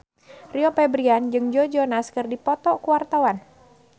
Rio Febrian jeung Joe Jonas keur dipoto ku wartawan